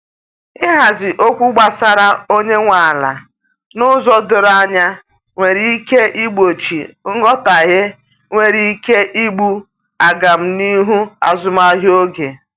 ihazi okwu gbasara onye nwe ala n'ụzọ doro anya nwere ike igbochi nghotahie nwere ike igbú agam n'ihu azụmahịa oge